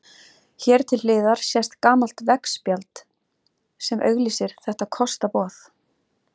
Hér til hliðar sést gamalt veggspjald sem auglýsir þetta kostaboð.